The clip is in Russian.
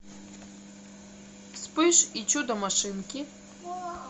вспыш и чудо машинки